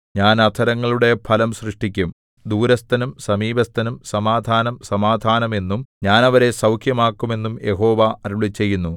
ഞാൻ അധരങ്ങളുടെ ഫലം സൃഷ്ടിക്കും ദൂരസ്ഥനും സമീപസ്ഥനും സമാധാനം സമാധാനം എന്നും ഞാൻ അവരെ സൗഖ്യമാക്കും എന്നും യഹോവ അരുളിച്ചെയ്യുന്നു